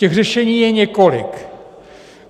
Těch řešení je několik.